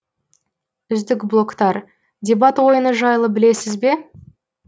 үздік блогтар дебат ойыны жайлы білесіз бе